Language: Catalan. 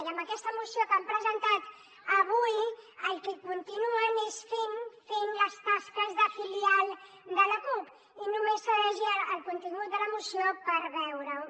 i amb aquesta moció que han presentat avui el que continuen és fent les tasques de filial de la cup i només s’ha de llegir el contingut de la moció per veure ho